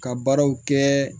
Ka baaraw kɛ